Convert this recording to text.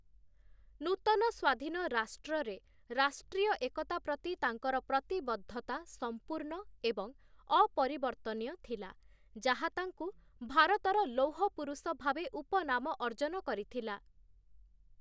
ନୂତନ ସ୍ୱାଧୀନ ରାଷ୍ଟ୍ରରେ ରାଷ୍ଟ୍ରୀୟ ଏକତା ପ୍ରତି ତାଙ୍କର ପ୍ରତିବଦ୍ଧତା ସମ୍ପୂର୍ଣ୍ଣ ଏବଂ ଅପରିବର୍ତ୍ତନୀୟ ଥିଲା, ଯାହା ତାଙ୍କୁ 'ଭାରତର ଲୌହ ପୁରୁଷ' ଭାବେ ଉପନାମ ଅର୍ଜନ କରିଥିଲା ।